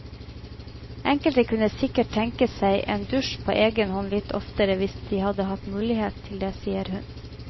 Enkelte kunne sikkert tenke seg en dusj på egen hånd litt oftere hvis de hadde hatt muligheten til det, sier hun.